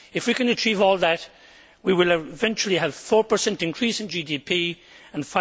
If we can achieve all that, we will eventually have a 4 increase in GDP and